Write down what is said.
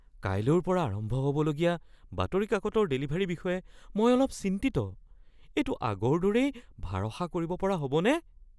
কাইলৈৰ পৰা আৰম্ভ হ'ব লগীয়া বাতৰি কাকতৰ ডেলিভাৰীৰ বিষয়ে মই অলপ চিন্তিত। এইটো আগৰ দৰেই ভাৰসা কৰিব পৰা হ'বনে?